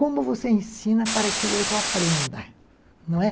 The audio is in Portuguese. Como você ensina para que o outro aprenda?